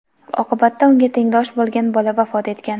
Oqibatda unga tengdosh bo‘lgan bola vafot etgan.